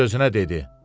Öz-özünə dedi: